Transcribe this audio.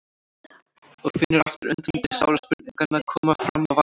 Og finnur aftur undrandi sára spurninguna koma fram á varir sér